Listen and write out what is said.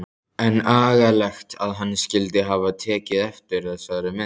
En agalegt að hann skyldi hafa tekið eftir þessari mynd.